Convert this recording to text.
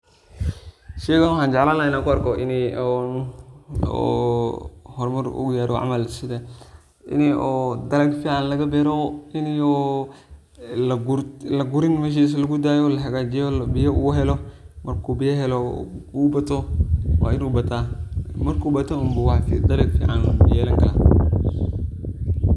Sheygan waxan jeclan laha in an kuarko inii oo hormar uu garo camal sida inii oo dalag fican lagabero, inii oo lagurin oo meshisa lugudayo lahagajiyo oo biyo uu helo marku biyo helo wainu bataa marku bato unu dalag fican yelani kara.